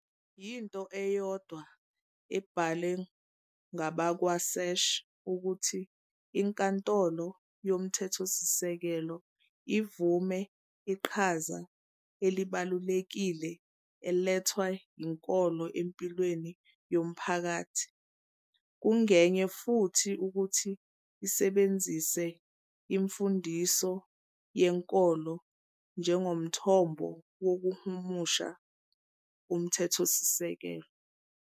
Yinto eyodwa, abhalwe ngabakwaSach, ukuthi iNkantolo Yomthethosisekelo ivume iqhaza elibalulekile elethwa yinkolo empilweni yomphakathi, kungenye futhi ukuthi isebenzise imfundiso yenkolo njengomthombo wokuhumusha uMthethosisekelo.